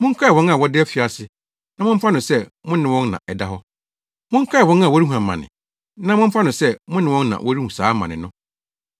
Monkae wɔn a wɔda afiase na momfa no sɛ mo ne wɔn na ɛda hɔ. Monkae wɔn a wɔrehu amane na momfa no sɛ mo ne wɔn na wɔrehu saa amane no.